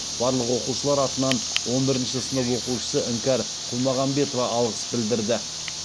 барлық оқушылар атынан он бірінші сынып оқушысы іңкәр құлмағамбетова алғыс білдірді